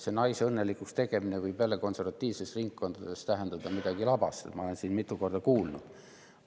See naise õnnelikuks tegemine võib konservatiivsetes ringkondades tähendada midagi labast, nagu ma olen siin mitu korda kuulnud.